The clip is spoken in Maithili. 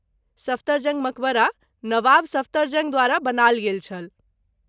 सफदरजंग मकबरा नवाब सफदरजंग द्वारा बनायल गेल छल।